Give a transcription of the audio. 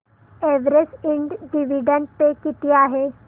Everest इंड dividend pay किती आहे